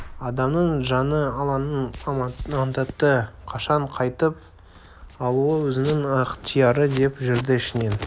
адамның жаны алланың аманаты қашан қайтып алуы өзінің ықтияры деп жүрді ішінен